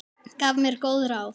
Gaf mér góð ráð.